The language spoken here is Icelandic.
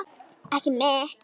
Ekki mitt.